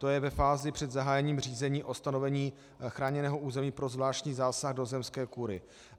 To je ve fázi před zahájením řízení o stanovení chráněného území pro zvláštní zásah do zemské kúry.